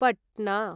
Patna